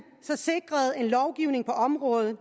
så sikrede en lovgivning på området